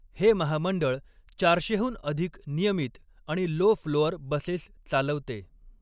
हे महामंडळ चारशेहून अधिक नियमित आणि लो फ्लोअर बसेस चालवते.